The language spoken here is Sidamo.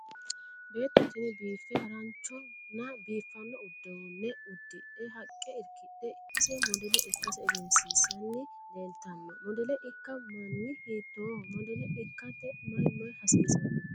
Beetto tini biiffe haranchonna biifanno uduunne udidhe haqqa irkidhe ise modele ikkase egensissanni leeltanno. Modele ikka manni hiittoho? modele ikkate may may hasiisanno?